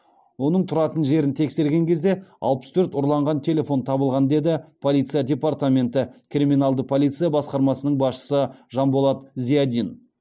оның тұратын жерін тексерген кезде алпыс төрт ұрланған телефон табылған деді полиция департаменті криминалды полиция басқармасының басшысы жанболат зиадин